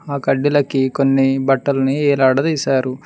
ఆ కడ్డిలకి కొన్ని బట్టల్ని ఏలాడుతా తీశారు.